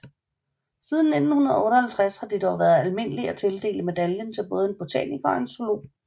Siden 1958 har det dog været almindeligt at tildele medaljen til både en botaniker og zoolog